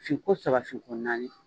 Finko saba finko naani